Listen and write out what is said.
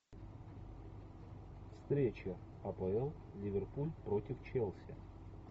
встреча апл ливерпуль против челси